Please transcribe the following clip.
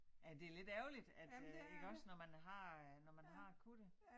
Ja det ærgerligt at øh iggås når man har øh når man har kunnet det